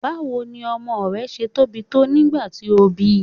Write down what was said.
Báwo ni ọmọ rẹ ṣe tóbi tó nígbà tí o bíi?